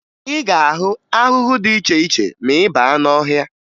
Ị ga-ahụ ahụhụ dị iche iche ma ị baa n'ọhịa